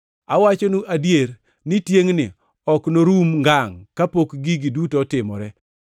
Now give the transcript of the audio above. Awachonu adier ni tiengʼni ok norum ngangʼ kapok gigi duto otimore.